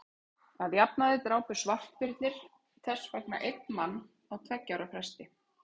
að jafnaði drápu svartbirnir þess vegna einn mann á tveggja ára fresti